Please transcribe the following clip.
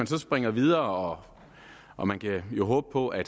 så springer videre og man kan jo håbe på at